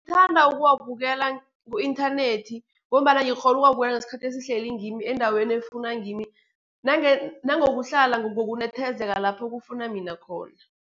Thanda ukuwabukela ku-inthanethi, ngombana ngikghonu ukuwabukela ngesikhathi esihlele ngimi, endaweni efuna ngimi, nangokuhlala ngokunethezeka lapho kufuna mina khona.